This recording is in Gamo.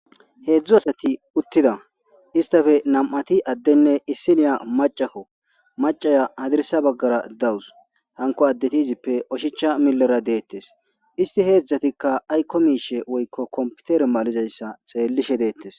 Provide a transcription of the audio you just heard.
Hezhu asati uttida istape nam'ati adenne issiniya macakko macaya hadirsa bagara daws hanko addeti izipe oshicha bagara deetes isti he hezhatika ayko mishe woyko kompitere malizaysa wochishe deetes